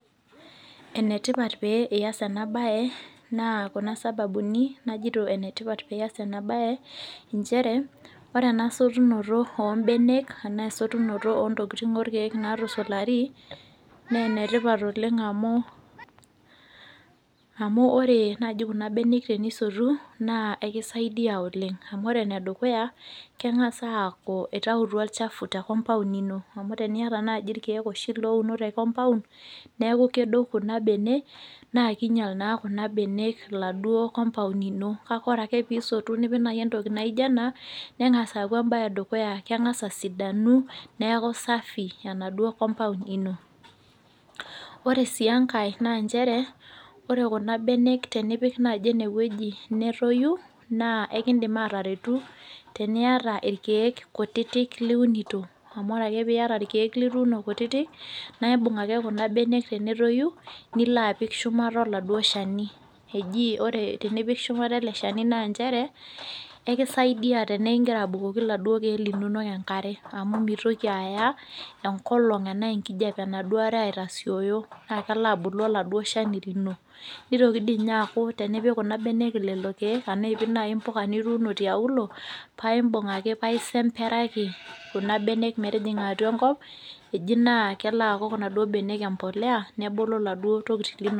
Enetipat pee eyas ena mbae naa Kuna sababuni ajoito pee eyas ena mbae ore esotuno oo mbenek ashu esotuno oo ntokitin orekeek natusulari naa enetipat oleng amu ore naaji Kuna mbenek enisotu naa ekisaidia oleng amu ore enedukuya naa keng'as aaku eitautua olchafu tee compound ino amu teniata naaji irkeek naaji loonu tee compound naa kedou Kuna mbenek naa kinyial naa Kuna enaduo compound ino kake ore ake pee esotu nipik naaji entoki naijio ena nengas naaji aaku mbae edukuya amu keng'as asidanu neeku safi enaduo compound ino ore sii enkae ore Kuna mbenek tenipik naaji enewueji netoyu naa ekidim ataretu naaji teniata irkeek ktuti liunoto amu ore ake piata irkeek lituno kutiti na ebug ake Kuna mbenek tenetoyu nilo apik shumata oladuo Shani eji ore tenipik shumata ele Shani naa njere ekisaidia tenekuu egira abukoki eladuo keek enkare amu mitoki Aya enkijiape enaa enkolog enaduo are aitasioyi naa kelo abulu oladuo Shani lino nitoki aku tenipik Kuna mbenek lelo keek ena epik naa mbuka nituno tiauluo paibug ake paa esemberaki Kuna mbenek metijinga atua enkop eji naa kelo aku naaduo mbenek embolea nebulu laduo tokitin linono